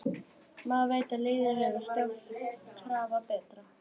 Maður veit að liðið verður sjálfkrafa betra.